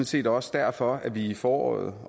set også derfor vi i foråret